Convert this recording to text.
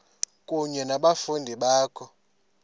kunye nabafundi bakho